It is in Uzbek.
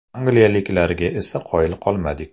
Angliyaliklarga esa qoyil qolmadik.